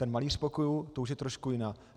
Ten malíř pokojů, to už je trošku jiná.